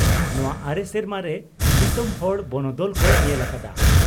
ᱱᱚᱣᱟ ᱟᱨᱮ ᱥᱮᱨᱢᱟ ᱨᱮ ᱫᱤᱥᱚᱢ ᱦᱚᱲ ᱵᱚᱱᱚᱫᱚᱞ ᱠᱚ ᱧᱮᱞ ᱟᱠᱟᱫᱼᱟ ᱾